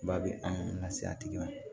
Ba bɛ an lase a tigi ma